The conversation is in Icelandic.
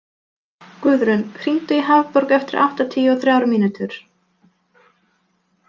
Guðrún, hringdu í Hafborg eftir áttatíu og þrjár mínútur.